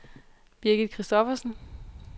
Birgit Christophersen